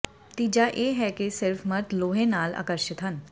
ਤੀਜਾ ਇਹ ਹੈ ਕਿ ਸਿਰਫ ਮਰਦ ਲੋਹੇ ਨਾਲ ਆਕਰਸ਼ਿਤ ਹਨ